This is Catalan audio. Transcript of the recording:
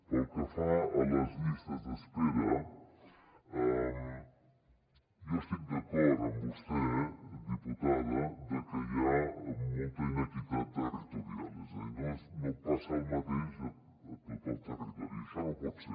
pel que fa a les llistes d’espera jo estic d’acord amb vostè diputada que hi ha molta iniquitat territorial és a dir no passa el mateix a tot el territori i això no pot ser